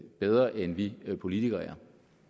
bedre end vi politikere er